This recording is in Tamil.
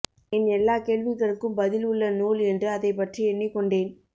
என் எல்லா கேள்விகளுக்கு பதில் உள்ல நூல் என்று அதைப்பற்றி எண்ணிக்கொண்டேன்